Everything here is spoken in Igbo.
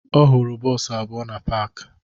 Ọ hụrụ bọọsụ abụọ na paakị